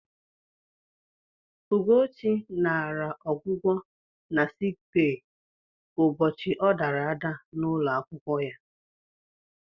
Ụgochị naara ọgwụgwọ na sik bee ụbọchị ọ dara ada n'ụlọ akwụkwọ ya.